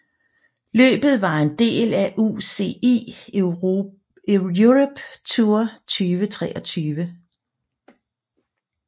Løbet var en del af UCI Europe Tour 2023